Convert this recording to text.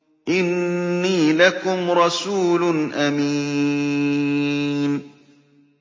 إِنِّي لَكُمْ رَسُولٌ أَمِينٌ